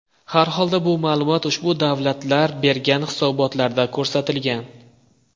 Harholda bu ma’lumot ushbu davlatlar bergan hisobotlarda ko‘rsatilgan.